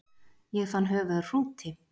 Ég fann höfuð af hrúti